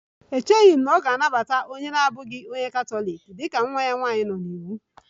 Echeghị m na ọ ga-anabata onye katọlik na-abụghị onye Katọlik dị ka nwa ya nwanyị nọ n'iwu